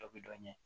Dɔ bɛ dɔ ɲini